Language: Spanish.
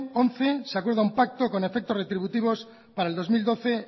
once se acuerdo un pacto con efectos retributivos para el dos mil doce